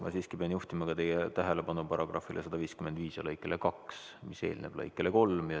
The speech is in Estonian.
Ma siiski pean juhtima ka teie tähelepanu § 155 lõikele 2, mis eelneb lõikele 3.